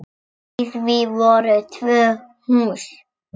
Í því voru tvö hús.